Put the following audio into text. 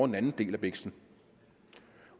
den anden del af biksen